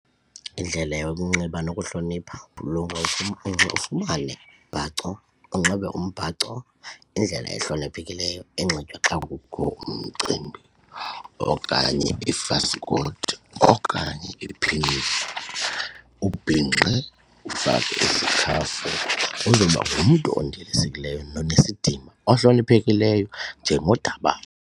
Indlela yokunxiba nokuhlonipha ufumane umbhaco unxibe umbhaco ngendlela ehloniphekileyo enxitywa xa kukho umcimbi okanye ifasikoti okanye iphinifa ubhinqe ufake isikhafu uzoba ngumntu ondilisekileyo nonesidima ohloniphekileyo njengodabawo.